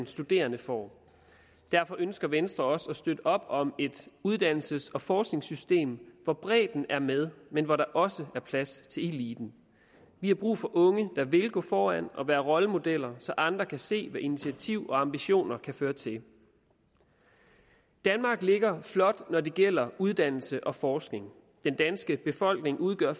studerende får derfor ønsker venstre også at støtte op om et uddannelses og forskningssystem hvor bredden er med men hvor der også er plads til eliten vi har brug for unge der vil gå foran og være rollemodeller så andre kan se hvad initiativ og ambitioner kan føre til danmark ligger flot når det gælder uddannelse og forskning den danske befolkning udgør